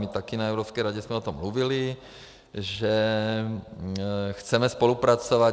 My taky na Evropské radě jsme o tom mluvili, že chceme spolupracovat.